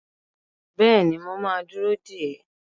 Bẹ́ẹ̀ni, mo ma dúró dè ẹ́